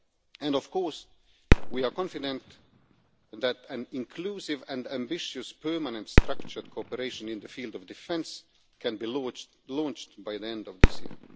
And of course, we are confident that an inclusive and ambitious permanent structured cooperation in the field of defence can be launched by the end of this year.